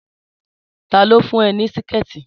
Tá lo fún ẹ ní Síkẹ̀tí!